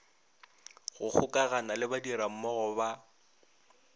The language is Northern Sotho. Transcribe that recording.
go gokagana le badirammogo ba